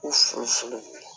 U furu ye